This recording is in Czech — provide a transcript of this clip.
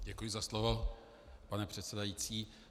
Děkuji za slovo, pane předsedající.